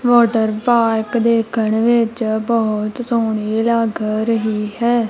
Water park ਦੇਖਣ ਵਿੱਚ ਬਹੁਤ ਸੋਹਣੀ ਲੱਗ ਰਹੀ ਹੈ।